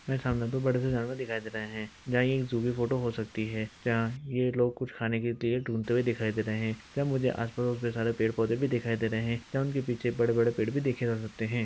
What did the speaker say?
मेरे सामने बड़े से जानवर दिखाई दे रहा है| यहाँ एक ज़ू फोटो हो सकती है जहाँ ये लोग कुछ खाने के लिए कुछ ढूंढते हुए दिखाई दे रहे हैं या उनके आस-पड़ोस के सारे पेड़-पौधे भी दिखाई दे रहे हैं या उनके पीछे बड़े-बड़े पेड़ भी देखे जा सकते हैं।